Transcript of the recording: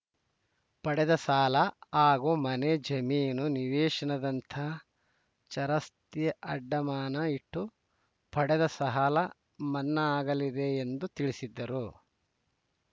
ಪಡೆದ ಸಾಲ ಹಾಗೂ ಮನೆ ಜಮೀನು ನಿವೇಶನದಂತಹ ಚರಾಸ್ತಿ ಅಡಮಾನ ಇಟ್ಟು ಪಡೆದ ಸಾಹಲ ಮನ್ನಾ ಆಗಲಿದೆ ಎಂದು ತಿಳಿಸಿದ್ದರು